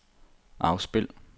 afspil